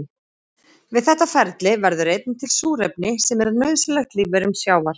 Við þetta ferli verður einnig til súrefni sem er nauðsynlegt lífverum sjávar.